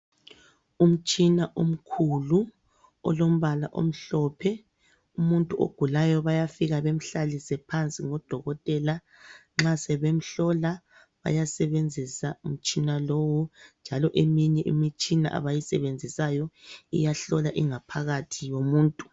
Umtshina omkhulu olombala omhlophe. Umuntu ogulayo bayafika bemhlalise phansi ngodokotela. Nxa sebemhlola bayasebenzisa umtshina lowu njalo eminye imitshina abayisebenzisayo iyahlola ingaphakathi yomuntu.